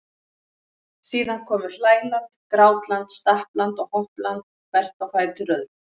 Síðan komu hlæland, grátland, stappland og hoppland hvert á fætur öðru.